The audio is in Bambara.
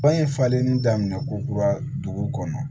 Ba ye falenlen daminɛ ko kura dugu kɔnɔ